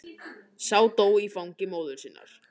Sá dó í fangi móður sinnar.